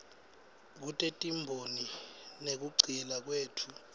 kutetimboni nekugcila kwetfu